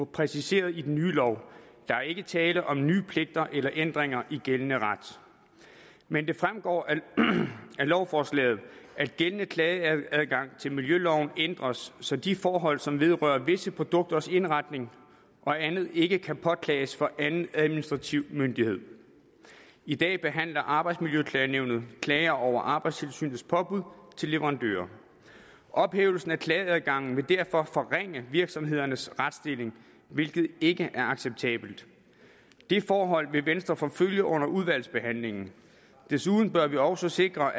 præciseret i den nye lov der er ikke tale om nye pligter eller ændringer i gældende ret men det fremgår af lovforslaget at gældende klageadgang til miljøloven ændres så de forhold som vedrører visse produkters indretning og andet ikke kan påklages for anden administrativ myndighed i dag behandler arbejdsmiljøklagenævnet klager over arbejdstilsynets påbud til leverandører ophævelsen af klageadgangen vil derfor forringe virksomhedernes retsstilling hvilket ikke er acceptabelt det forhold vil venstre forfølge under udvalgsbehandlingen desuden bør vi også sikre